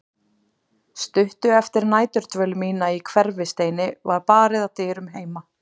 Stuttu eftir næturdvöl mína í Hverfisteini var barið að dyrum heima.